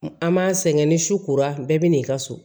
An m'a sɛgɛn ni su kora bɛɛ bɛ n'i ka so